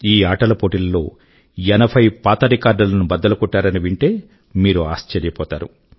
ఈ ఆటల పోటీల లో ఎనభై పాత రికార్డుల ను బద్దలుకొట్టారని వింటే మీరు ఆశ్చర్యపోతారు